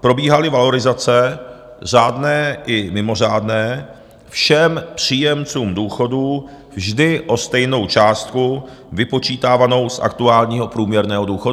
probíhaly valorizace řádné i mimořádné všem příjemcům důchodů vždy o stejnou částku vypočítávanou z aktuálního průměrného důchodu.